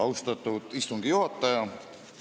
Austatud istungi juhataja!